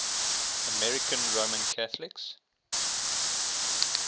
american roman catholics